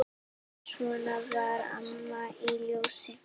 Svona var Amma í Ljós.